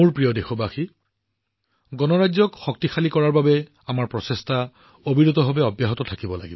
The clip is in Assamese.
মোৰ মৰমৰ দেশবাসীসকল আমাৰ গণৰাজ্যক শক্তিশালী কৰাৰ বাবে আমাৰ প্ৰচেষ্টা নিৰন্তৰভাৱে চলি থকা উচিত